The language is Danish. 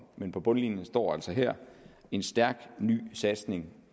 men på bundlinjen står der altså her en stærk ny satsning